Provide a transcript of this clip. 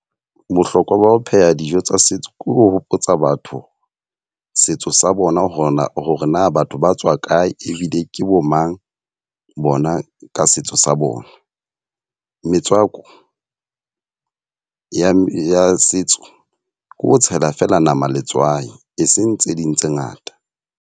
Bohlokwa ba ho pheha dijo tsa setso. Ke ho hopotsa batho setso sa bona hore na hore na batho ba tswa kae ebile ke bo mang bona ka seo setso sa bona. Metswako ya setso ke ho tshela fela nama letswai, e seng tse ding tse ngata.